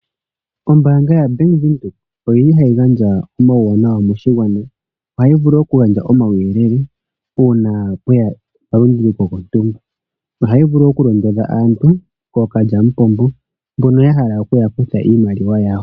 Ombaanga yaBank Windhoek oyi li hayi gandja omauwanawa moshigwana. Ohayi vulu okugandja omauyelele uuna kwe ya omalunduluko gontumba. Ohayi vulu okulondodha aantu kookalyamupombo mbono ya hala okuya kutha iimaliwa yawo.